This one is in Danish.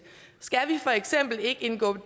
skal vi for eksempel ikke indgå